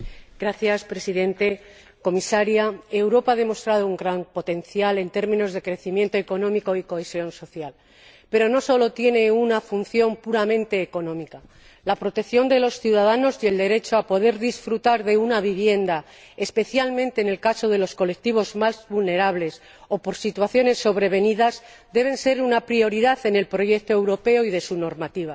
Señor Presidente, señora Comisaria, Europa ha demostrado un gran potencial en términos de crecimiento económico y cohesión social, pero no sólo tiene una función puramente económica la protección de los ciudadanos y el derecho a poder disfrutar de una vivienda, especialmente en el caso de los colectivos más vulnerables, o en el de situaciones sobrevenidas, deben ser una prioridad en el proyecto europeo y en su normativa.